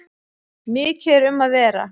Mikið er um að vera.